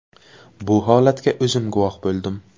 Bu holatga o‘zim guvoh bo‘ldim.